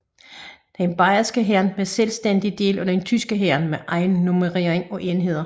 Den bayerske hær var en selvstændig del af den tyske hær med egen nummerering af enheder